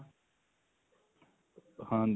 ਹਾਂਜੀ